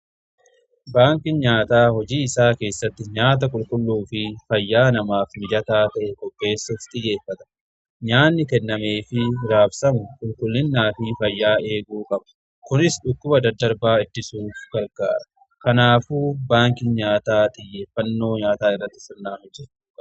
Baanki nyaataa hojii isaa keessatti nyaata qulqulluu fi fayyaa namaaf mijataa ta'e qopheessuf xiyyeeffata. nyaanni kennamee fi raabsamu qulqullinnaa fi fayyaa eeguu qaba. Kunis dhukkuba daddarbaa ittisuuf gargaara. Kanaafu baanki nyaataa xiyyeeffannoo nyaataa irratti sirnaan hojjatamuu qaba.